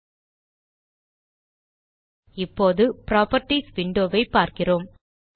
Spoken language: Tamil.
000549 000548 இப்போது புராப்பர்ட்டீஸ் விண்டோ ஐ பார்க்கிறோம்